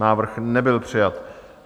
Návrh nebyl přijat.